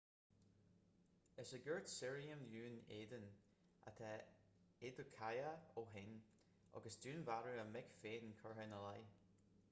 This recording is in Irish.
is i gcúirt sirriam dhún éideann atá adekoya ó shin agus dúnmharú a mic féin curtha ina leith